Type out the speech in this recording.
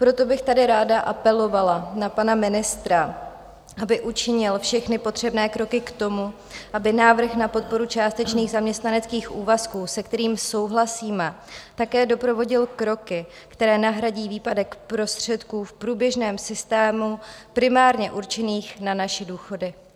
Proto bych tady ráda apelovala na pana ministra, aby učinil všechny potřebné kroky k tomu, aby návrh na podporu částečných zaměstnaneckých úvazku, se kterými souhlasíme, také doprovodil kroky, které nahradí výpadek prostředků v průběžném systému primárně určených na naše důchody.